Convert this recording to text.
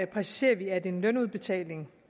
præciserer vi at en lønudbetaling